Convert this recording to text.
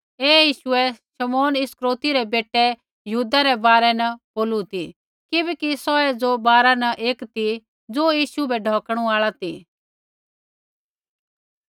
ऐ यीशुऐ शमौन इस्करियोती रै बेटै यहूदा रै बारै न बोलू ती किबैकि सौऐ ज़ो बारा न एक ती ज़ो यीशु बै ढौकणु आल़ा ती